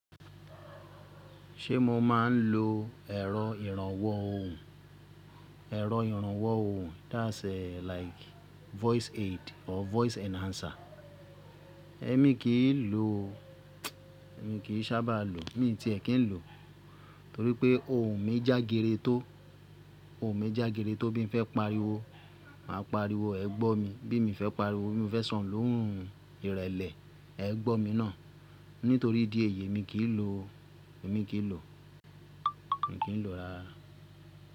Ṣé mo máa ń lo ẹ̀rọ ìrànwọ́ ohùn? Ẹ̀rọ ìrànwọ́ ohùn that's like voice aid or voice enhancer. Èmi kì í lò ó. Èmi kì í sábà lò ó. Mi n ti ẹ̀ kíń lò. Torí pé ohùn mi jágéré tó. Ohùn mi jágéré tó. Bí mo fẹ́ pariwo, màá pariwo, ẹ gbọ́ mi. Bí mii fẹ́ pariwo, bí mo fẹ́ sọ̀rọ̀ lóhùn ìrẹ̀lẹ̀, ẹ gbọ́ mi ná. Nítorí idi èyí èmi kì í lò ó. Èmi kì í lò ó. Èmi kì í lò rárá.